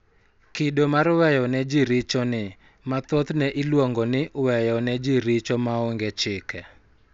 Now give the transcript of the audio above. Kido mar weyo ne ji richo ni, ma thothne iluongo ni "weyo ne ji richo maonge chike,"